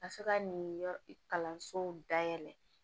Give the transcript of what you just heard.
A bɛ se ka nin yɔrɔ kalansow dayɛlɛ